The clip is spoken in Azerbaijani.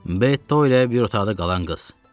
Bto ilə bir otaqda qalan qız.